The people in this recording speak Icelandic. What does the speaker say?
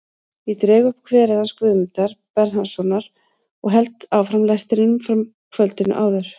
Ég dreg upp kverið hans Guðmundar Bernharðssonar og held áfram lestrinum frá kvöldinu áður.